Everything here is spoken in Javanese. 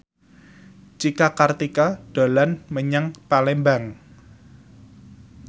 Cika Kartika dolan menyang Palembang